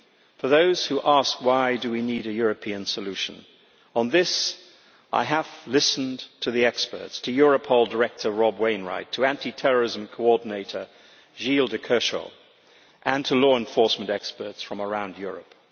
For those who ask why we need a European solution, on this I have listened to the experts, to Europol Director Rob Wainwright, to anti terrorism coordinator Gilles de Kerchove, and to law enforcement experts from around Europe.